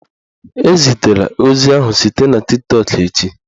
Ezitela ozi ahụ site na Tiktọk echi!